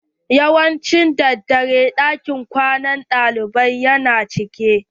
Yawanci daddare ɗakin kwana na ɗalibai ya na cika.